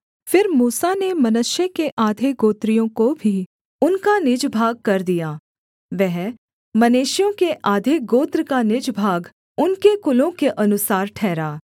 फिर मूसा ने मनश्शे के आधे गोत्रियों को भी उनका निज भागकर दिया वह मनश्शेइयों के आधे गोत्र का निज भाग उनके कुलों के अनुसार ठहरा